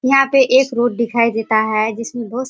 यहाँ पे एक रोड दिखाई देता है जिसमे बहु --